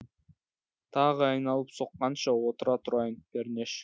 тағы айналып соққанша отыра тұрайын пернеш